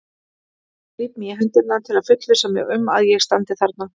Klíp mig í hendurnar til að fullvissa mig um að ég standi þarna.